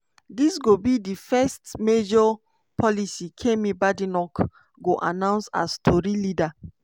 dis go be di first major policy kemi badenoch go announce as tory leader.